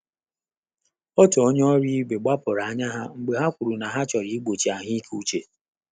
Ọ́tù ọ́nyé ọ́rụ́ íbé gbàpụ́rụ̀ ányá há mgbè ọ́ kwùrù nà há chọ́rọ́ ụ́bọ̀chị̀ àhụ́ị́ké úchè.